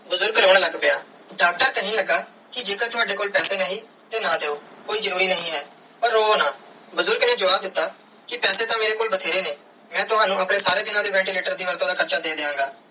ਬੁਜ਼ਰਗ ਰੋਂ ਲੱਗ ਪਿਆ ਡਾਕਟਰ ਕੇਹਨ ਲਗਾ ਕੇ ਜੇ ਕਰ ਤਾਵਦੇ ਕੋਲ ਪੈਸੇ ਨਹੀਂ ਤੇ ਨਾ ਦਿਯੋ ਕੋਈ ਜਰੂਰੀ ਨਾਈ ਹੈ ਪਾਰ ਰੋਵੋ ਨਾ ਬੁਜ਼ਰਗ ਨੇ ਜਵਾਬ ਦਿੱਤਾ ਕੇ ਪੈਸੇ ਤੇ ਮੇਰੇ ਕੋਲ ਬੈਤੇਰੇ ਨੇ n ਮੈਂ ਤਵਣੁ ਆਪਣੇ ਸਾਰੇ ਦੀਨਾ ਦੇ ventilator ਦੀ ਵੱਧ ਤੂੰ ਵੱਧ ਹਾਰਚਾ ਦੇ ਦੀਆ ਗਏ.